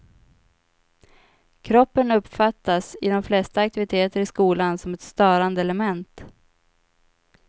Kroppen uppfattas i de flesta aktiviteter i skolan som ett störande element.